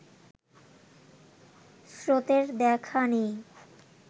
স্রোতের দেখা নেই